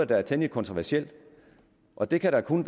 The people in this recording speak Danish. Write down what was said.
der er temmelig kontroversielt og det kan da kun